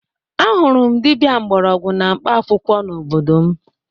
Ahụrụ m dibia mgbọrọgwụ na mkpaakwụkwọ n'obodo m